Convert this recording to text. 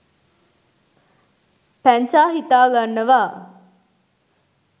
පැංචා හිතා ගන්නවා